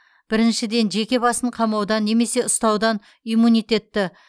біріншіден жеке басын қамаудан немесе ұстаудан иммунитетті